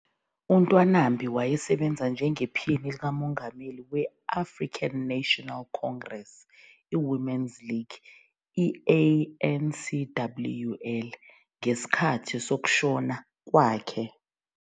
UNtwanambi wayesebenza njengephini likamengameli we- African National Congress Women's League, ANCWL, ngesikhathi sokushona kwakhe.